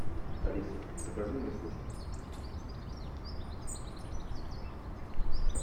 алиса закажи мне суши